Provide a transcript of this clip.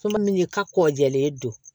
Fura min ka kɔ jɛlen don